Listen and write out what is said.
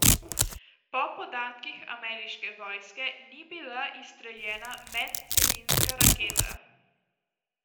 Po podatkih ameriške vojske ni bila izstreljena medcelinska raketa.